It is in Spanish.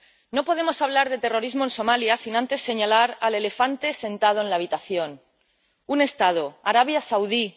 No podemos hablar de terrorismo en Somalia sin antes señalar al elefante sentado en la habitación un Estado, Arabia Saudí